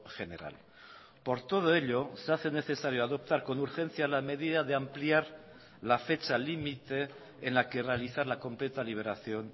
general por todo ello se hace necesario adoptar con urgencia la medida de ampliar la fecha límite en la que realizar la completa liberación